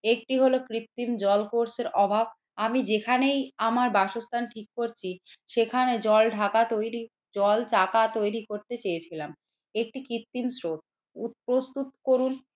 একটি হলো কৃত্রিম জল কোষের অভাব আমি যেখানেই আমার বাসস্থান ঠিক করছি সেখানে জল ঢাকা তৈরি জল টাকা তৈরি করতে চেয়েছিলাম। একটি কৃত্রিম স্রোত প্রস্তুত করুন